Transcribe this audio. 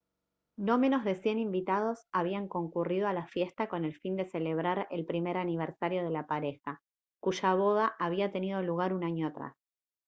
no menos de 100 invitados habían concurrido a la fiesta con el fin de celebrar el primer aniversario de la pareja cuya boda había tenido lugar un año atrás